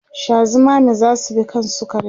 Sha zumami zasu bi kan sukarin